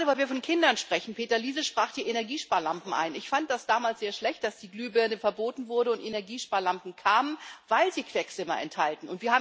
Weil wir gerade von Kindern sprechen Peter Liese sprach die Energiesparlampen an Ich fand das damals sehr schlecht, dass die Glühbirne verboten wurde und Energiesparlampen kamen, weil sie Quecksilber enthalten.